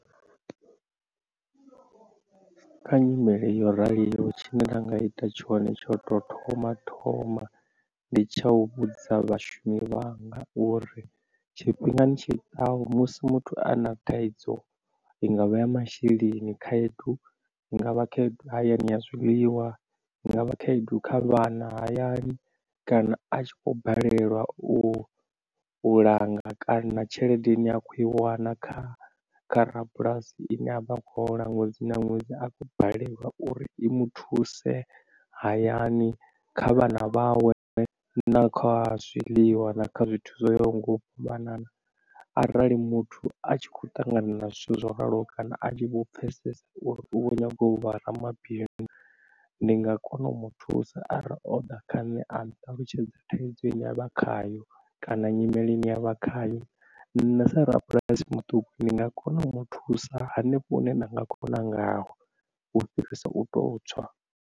Kha nyimele yo raliho tshine nda nga ita tshone tsho u tou thoma thoma ndi tsha u vhudzisa vhashumi vhanga uri tshifhingani tshi ḓaho musi muthu a na thaidzo i ngavha ya masheleni khaedu, i nga vha khaedu hayani ya zwiḽiwa, i nga vha khaedu kha vhana hayani kana a tshi kho balelwa u u langa kana tshelede ine a kho i wana kha kha rabulasi ndi ine a vha khou hola ṅwedzi na ṅwedzi a khou balelwa uri i muthuse hayani kha vhana vhawe na kha zwiḽiwa na kha zwithu zwoyaho nga u fhambanana. Arali muthu a tshi khou ṱangana na zwithu zwo raloho kana a tshi vho pfesesa uri u kho nyaga u vha ramabindu ndi nga kona u muthusa arali o ḓa kha nṋe a nṱalutshedza thaidzo ine yavha khayo kana nyimele ine avha khayo nṋe sa rabulasi muṱuku ndi nga kona u muthusa hanefho hune nda nga kona ngayo u fhirisa u to tswa.